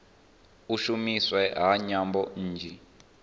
u shumiswa ha nyambo nnzhi